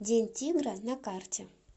день тигра на карте